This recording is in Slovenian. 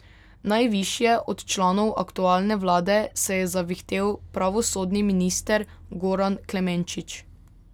Najvišje od članov aktualne vlade se je zavihtel pravosodni minister Goran Klemenčič.